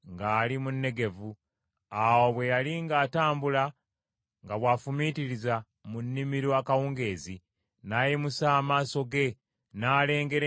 Awo bwe yali ng’atambula nga bw’afumiitiriza mu nnimiro akawungeezi, n’ayimusa amaaso ge n’alengera eŋŋamira nga zijja.